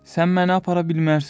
Sən məni apara bilməzsən.